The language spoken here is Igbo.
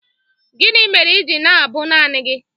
Gịnị mere i ji na-abụ naanị gị?